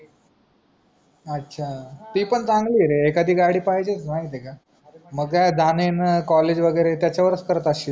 अच्छा ती पण चांगली रे आहे एकादी गाडी पाहिजे माहिती आहे का मग काय जान येण COLLEGE वागेरे त्याचवरस करत अशील